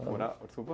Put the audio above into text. Morava, desculpa?